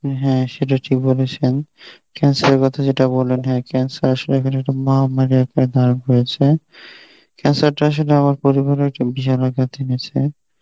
হ্যাঁ সেটা ঠিক বলেছেন, cancer এর কথা যেটা বললেন হ্যাঁ cancer আসলে এমন একটা মহামারী আকার ধারণ করেছে, cancer টা আসলে আমার পরিবারের জনার ক্ষেত্রেই হয়েছে